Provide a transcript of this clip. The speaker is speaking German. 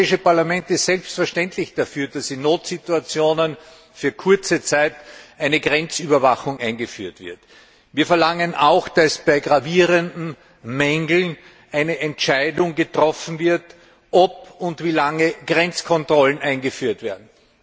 Das Europäische Parlament ist selbstverständlich dafür, dass in Notsituationen für kurze Zeit eine Grenzüberwachung eingeführt wird. Wir verlangen auch, dass bei gravierenden Mängeln eine Entscheidung getroffen wird, ob und wie lange Grenzkontrollen eingeführt werden.